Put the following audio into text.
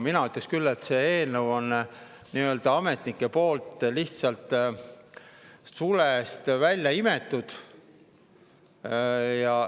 Mina ütleks küll, et see eelnõu on ametnikel lihtsalt sulepeast välja imetud.